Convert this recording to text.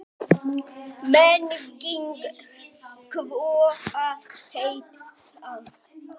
Nagandi kvíði að hitta hana.